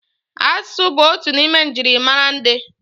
Asụsụ bụ otu n'ime njirimara ndị.